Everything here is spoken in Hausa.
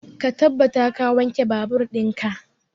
Ka tabbata ka wanke babur in ka!